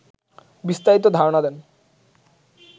বিস্তারিত ধারণা নেন